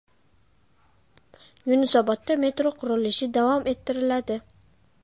Yunusobodda metro qurilishi davom ettiriladi.